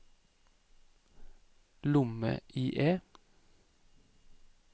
lomme-IE